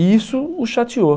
E isso o chateou.